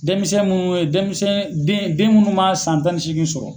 Denmisɛn mun ye denmisɛn den den munnu man san tan ni seegin sɔrɔ.